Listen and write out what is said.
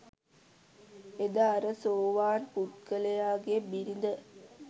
එදා අර සෝවාන් පුද්ගලයාගේ බිරිඳ